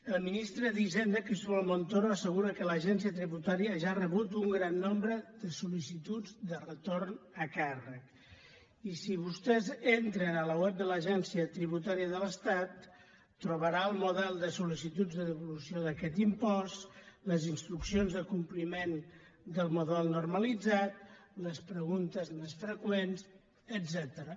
el ministre d’hisenda cristóbal montoro assegura que l’agència tributària ja ha rebut un gran nombre de sol·licituds de retorn a càrrec i si vostès entren a la web de l’agència tributària de l’estat trobaran el model de solinstruccions de compliment del model normalitzat les preguntes més freqüents etcètera